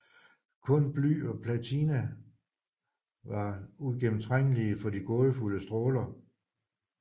Kun bly og platina var uigennemtrængelige for de gådefulde stråler